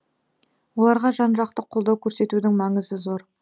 оларға жан жақты қолдау көрсетудің маңызы зор